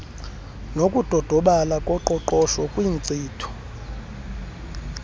nokudodobala koqoqosho kwinkcitho